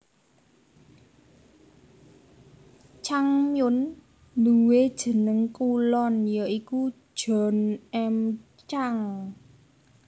Chang Myon nduwé jeneng kulon ya iku John M Chang